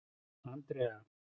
Andrea